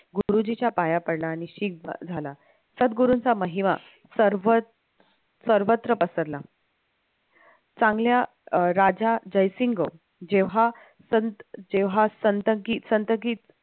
गुरुजींच्या पाया पडला आणि झाला सद्गुरूंचा महिमा सर्व सर्वत्र पसरला चांगल्या राजा जयसिंग जेव्हा संत जेव्हा संतगीत